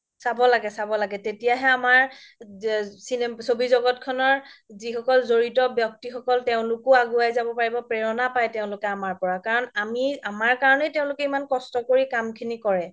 চাব লাগে চাব লাগে তেতিয়াহে আমাৰ চবি জগতখনৰ যিসকল জৰিত ব্যক্তি সকল তেওলোকো আগোৱাই জাব পাৰিব প্ৰেৰণা পাই তেওলোকো আমাৰ পৰা কাৰন আমি আমাৰ কাৰণে তেওলোকে ইমান কস্ত কৰি কাম খিনি কৰে